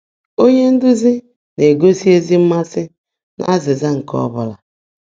Ónyé ndụ́zí ná-égósị́ ézí mmàsị́ n’ázị́zã nkè ọ́ bụ́lá